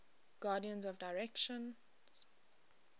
guardians of the directions